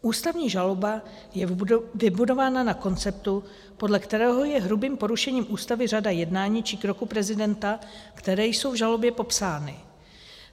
Ústavní žaloba je vybudována na konceptu, podle kterého je hrubým porušením Ústavy řada jednání či kroků prezidenta, které jsou v žalobě popsány.